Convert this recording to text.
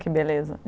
Que beleza.